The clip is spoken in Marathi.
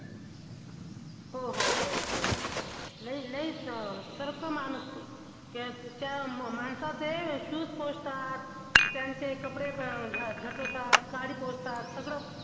हो हो हो हो लई लईच तर तर्क माणूस ते त्या त्या माणसाचे shoes पोसतात. त्यांचे कपडे झटवतात, गाडी पोसतात. सगळं